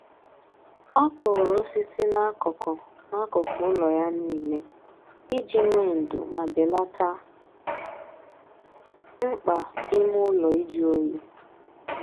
Ọ kụrụ osisi n'akụkụ n'akụkụ ụlọ ya niile iji nwee ndo ma belata mkpa ime ụlọ ịjụ oyi